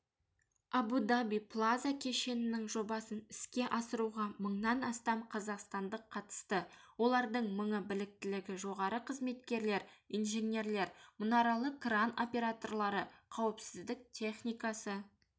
абу-даби плаза кешенінің жобасын іске асыруға мыңнан астам қазақстандық қатысты олардың мыңы біліктілігі жоғары қызметкерлер инженерлер мұнаралы кран операторлары қауіпсіздік техникасы